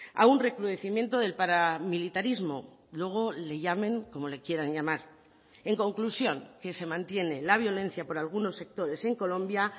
a un recrudecimiento del paramilitarismo luego le llamen como le quieran llamar en conclusión que se mantiene la violencia por algunos sectores en colombia